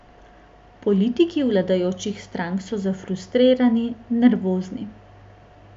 Politiki vladajočih strank so zafrustrirani, nervozni.